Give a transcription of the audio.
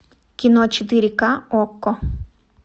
кино четыре ка окко